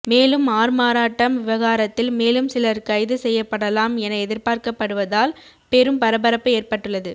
மேலும் ஆள்மாறாட்டம் விவகாரத்தில் மேலும் சிலர் கைது செய்யப்படலாம் என எதிர்பார்க்கப்படுவதால் பெரும் பரபரப்பு ஏற்பட்டுள்ளது